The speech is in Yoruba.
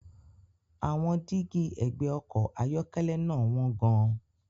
Àwọn dígí ẹ̀gbẹ́ ọkọ̀ ayọ́kẹ́lẹ́ náà wọ́n gan-an.